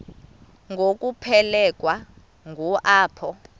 ngokuphelekwa ngu apho